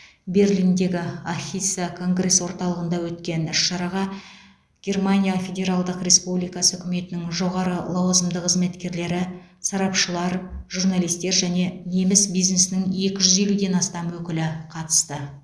берлиндегі ахіса конгресс орталығында өткен іс шараға германия федералдық республикасы үкіметінің жоғары лауазымды қызметкерлері сарапшылар журналистер және неміс бизнесінің екі жүз елуден астам өкілі қатысты